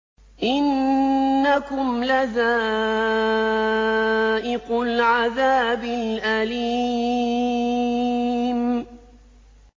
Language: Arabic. إِنَّكُمْ لَذَائِقُو الْعَذَابِ الْأَلِيمِ